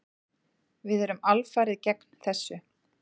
Við erum alfarið gegn þessu.